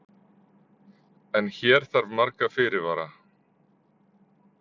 En hér þarf marga fyrirvara.